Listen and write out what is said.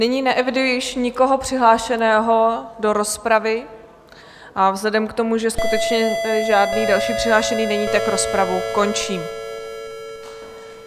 Nyní neeviduji již nikoho přihlášeného do rozpravy a vzhledem k tomu, že skutečně žádný další přihlášený není, tak rozpravu končím.